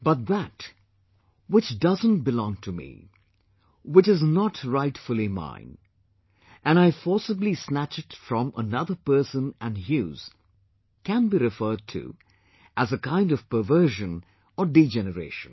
But that 'which doesn't belong to me', 'which is not rightfully mine', and I forcibly snatch it from another person and use, can be referred to as a kind of perversion or degeneration